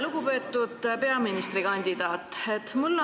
Lugupeetud peaministrikandidaat!